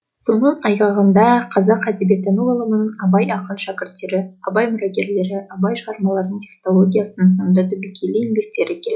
соның айғағындай қазақ әдебиеттану ғылымының абайдың ақын шәкірттері абай мұрагерлері абай шығармаларының текстологиясы сынды түбегейлі еңбектері келді